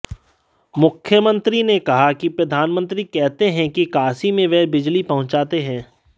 मुख्यमंत्री ने कहा कि प्रधानमंत्री कहते हैं कि काशी में वह बिजली पहुंचाते हैं